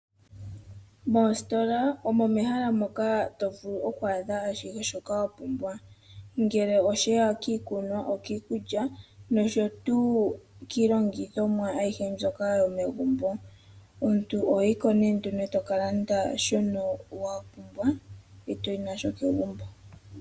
Moositola omo mehala moka to vulu oku adha ashihe shoka wa pumbwa, ngele osheya kiikunwa, okiikulya nosho tuu kiilongithomwa ayihe mbyoka yomegumbo. Omuntu oho yi ko nduno e to ka landa shoka wa pumbwa , e to yi nasho kegumbo.